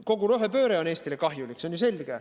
Kogu rohepööre on Eestile kahjulik, see on ju selge.